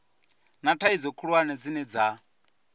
na thaidzo khulwane dzine dza